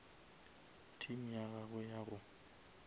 team ya gagwe ya go